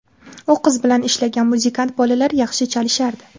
U qiz bilan ishlagan muzikant bolalar yaxshi chalishardi.